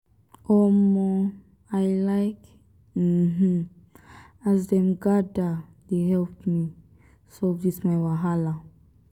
um i like um as dem gather dey help me solve dis my wahala.